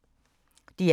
DR1